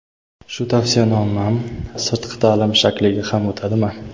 Shu tavsiyanomam sirtqi taʼlim shakliga ham o‘tadimi?.